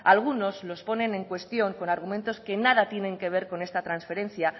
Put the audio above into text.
algunos los ponen en cuestión con argumentos que nada tienen que ver con esta trasferencia